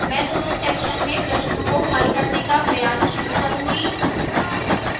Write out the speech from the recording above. मैं दोनों sections में प्रश्नों को हल करने का प्रयास शुरू करूंगी